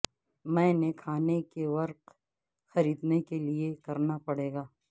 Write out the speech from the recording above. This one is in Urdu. میں نے کھانے کے ورق خریدنے کے لئے کرنا پڑے گا